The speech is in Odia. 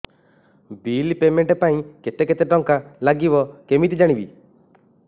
ବିଲ୍ ପେମେଣ୍ଟ ପାଇଁ କେତେ କେତେ ଟଙ୍କା ଲାଗିବ କେମିତି ଜାଣିବି